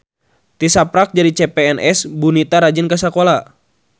Tisaprak jadi CPNS Bu Nita rajin ka sakola